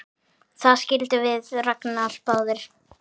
Það skildum við Ragnar báðir!